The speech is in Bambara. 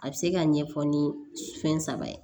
A bɛ se ka ɲɛfɔ ni fɛn saba ye